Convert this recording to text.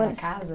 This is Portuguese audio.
casa?